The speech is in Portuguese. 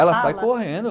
Ela sai correndo.